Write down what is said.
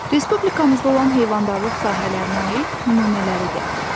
Respublikamızda olan heyvandarlıq sahələrinə aid nümunələridir.